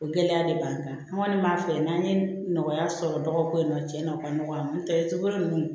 O gɛlɛya de b'an kan an kɔni b'a fɛ yan n'an ye nɔgɔya sɔrɔ dɔgɔkun na cɛn na o ka nɔgɔ nɔntɛ cogo nunnu